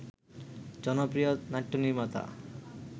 জনপ্রিয় নাট্যনির্মাতা